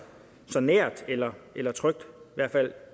så nært eller eller trygt i hvert fald